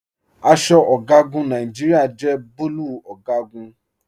Aṣọ ọgagun Nàìjíríà jẹ bùlúù ọgagun.